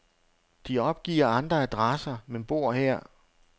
De opgiver andre adresser, men bor her.